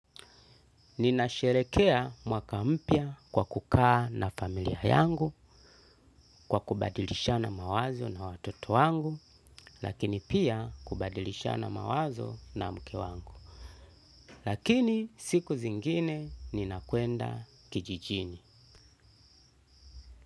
Ninasherehekea mwaka mpya kwa kukaa na familia yangu kwa kubadilishana mawazo na watoto wangu lakini pia kubadilishana mawazo na mke wangu. Lakini siku zingine ninakuenda kijijini.